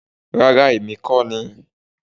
Rara, Emi ko ni